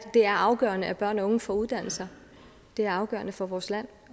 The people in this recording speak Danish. det er afgørende at børn og unge får uddannelser det er afgørende for vores land